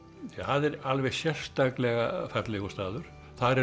það er alveg sérstaklega fallegur staður þar eru